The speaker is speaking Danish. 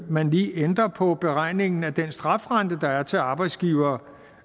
man lige ændrer på beregningen af den strafrente der er til arbejdsgivere